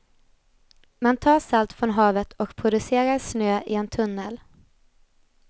Man tar salt från havet och producerar snö i en tunnel.